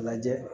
Lajɛ